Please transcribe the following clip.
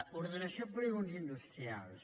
ordenació de polígons industrials